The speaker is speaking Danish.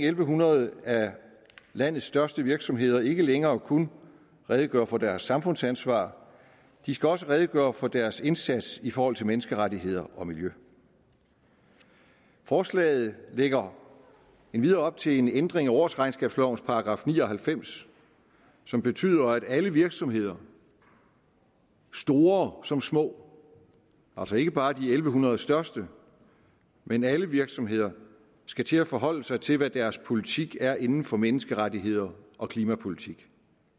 en hundrede af landets største virksomheder ikke længere kun redegøre for deres samfundsansvar de skal også redegøre for deres indsats i forhold til menneskerettigheder og miljø forslaget lægger endvidere op til en ændring af årsregnskabslovens § ni og halvfems som betyder at alle virksomheder store som små altså ikke bare de en tusind en hundrede største men alle virksomheder skal til at forholde sig til hvad deres politik er inden for menneskerettigheder og klimapolitik